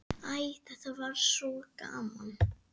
Æ, þetta var svo gaman.